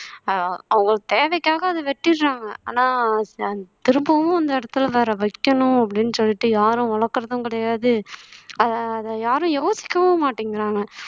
ஆஹ் அவங்க தேவைக்காக அத வெட்டிடுறாங்க ஆனா திரும்பவும் அந்த இடத்துல வேற வைக்கணும் அப்படின்னு சொல்லிட்டு யாரும் வளர்க்கறதும் கிடையாது அத அத யாரும் யோசிக்கவும் மாட்டேங்கறாங்க